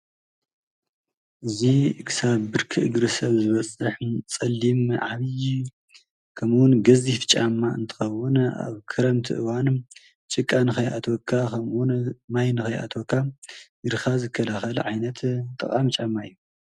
እዚ ክሳብ ብርኪ እግሪ ሰብ ዝበፅሕ ፀሊም ዓብዪ ከምኡ እውን ገዚፍ ጫማ እንትኸዉን ኣብ ክረምቲ እዋን ጭቃ ንከይአትወካ ከምኡ እውን ማይ ንከይአትወካ እግርኻ ዝከላኸል ዓይነት ጠቃሚ ጫማ እዩ ።